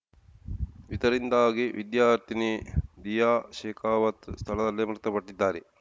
ಇದರಿಂದಾಗಿ ವಿದ್ಯಾರ್ಥಿನಿ ದಿಯಾ ಶೇಖಾವತ್‌ ಸ್ಥಳದಲ್ಲಿಯೇ ಮೃತಪಟ್ಟಿದ್ದಾರೆ